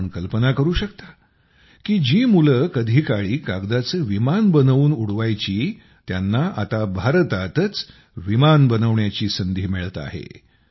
आपण कल्पना करू शकता की जी मुले कधीकाळी कागदाचे विमान बनवून उडवायची त्यांना आता भारतातच विमाने बनविण्याची संधी मिळत आहे